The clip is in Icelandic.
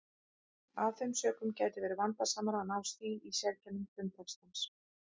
Af þeim sökum gæti verið vandasamara að ná stíl og sérkennum frumtextans.